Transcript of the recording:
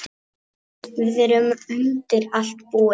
Við erum undir allt búin.